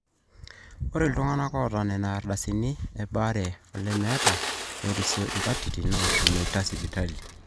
ore iltung'anak oota nena ardasini e baare olemeeta nerisio inkatitin naashomoita sipitali